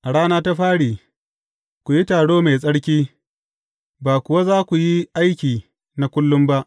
A rana ta fari, ku yi taro mai tsarki, ba kuwa za ku yi aiki na kullum ba.